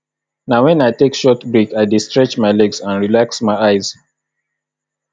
na wen i take short break i dey stretch my legs and relax my eyes